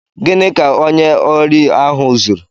Gịnị ka onye órí ahụ zụrụ?